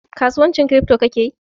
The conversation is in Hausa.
kasuwancin kiripto ka kake yi?